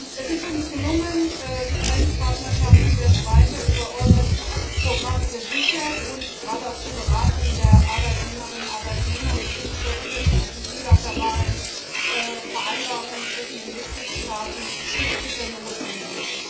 Es ist uns gelungen, die Grenzpartnerschaften werden weiter über das EURES Programm gesichert, und gerade auch die Beratung der Arbeitnehmerinnen und Arbeitnehmer mit wirklich sehr unterschiedlichen bilateralen Vereinbarungen zwischen den Mitgliedstaaten ist bitter notwendig.